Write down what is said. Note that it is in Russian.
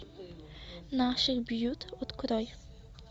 наших бьют открой